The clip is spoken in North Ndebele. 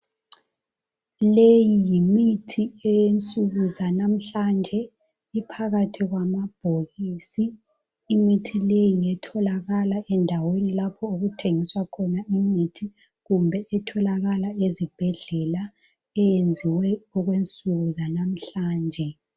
Leyi yimithi eyensuku zanamhlanje, iphakathi kwamabhokisi. Imithi le ngetholakala endaweni lapho okuthengiswa khona imithi kumbe etholakala ezibhedlela eyenziwe okwensuku zanamhlanje.